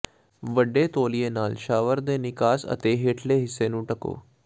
ਵੱਡੇ ਤੌਲੀਏ ਨਾਲ ਸ਼ਾਵਰ ਦੇ ਨਿਕਾਸ ਅਤੇ ਹੇਠਲੇ ਹਿੱਸੇ ਨੂੰ ਢੱਕੋ